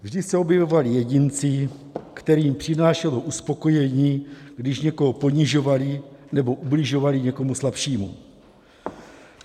Vždy se objevovali jedinci, kterým přinášelo uspokojení, když někoho ponižovali nebo ubližovali někomu slabšímu.